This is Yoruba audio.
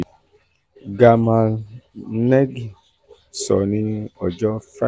gamal negm sọ ní ọjọ́ Friday.